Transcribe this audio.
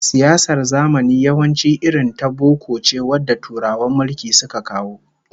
Siyasar zamani yawanci irin ta boko ce wanda Turawan mulki suka kawo